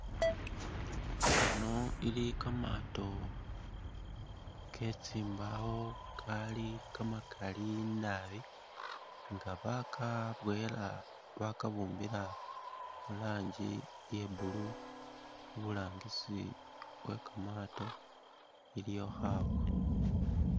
Ano ili kamato ketsimbawo Kali kamakaali naabi nga bakaboyela bakabumbila muranjii iya'blue, iburangisi we kamatoo iliyo khabwa